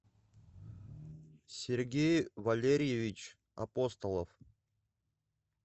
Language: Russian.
сергей валерьевич апостолов